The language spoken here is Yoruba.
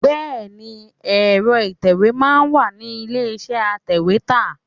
Bẹẹni, èro ìtẹ̀wẹ́ máa ń wà ní ilé iṣẹ́ atèwétà.